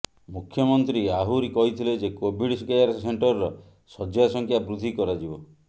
ମୁଖ୍ୟମନ୍ତ୍ରୀ ଆହୁରି କହିଥିଲେ ଯେ କୋଭିଡ୍ କେୟାର ସେଣ୍ଟରର ଶଯ୍ୟା ସଂଖ୍ୟା ବୃଦ୍ଧି କରାଯିବ